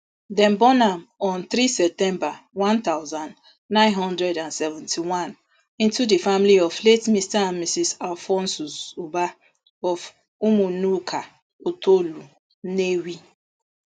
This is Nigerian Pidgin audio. dem born am on three september one thousand, nine hundred and seventy-one into di family of late mr and mrs alphonsus ubah of umuanuka otolo nnewi